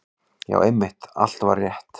Já, einmitt, allt var rétt.